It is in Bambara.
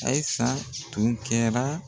Ayisa tun kɛra